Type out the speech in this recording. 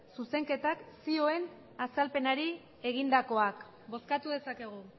zuzenketak zioen azalpenari egindakoak bozkatu dezakegu